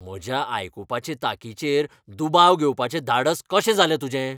म्हज्या आयकुपाचे तांकीचेर दुबाव घेवपाचें धाडस कशें जालें तुजें?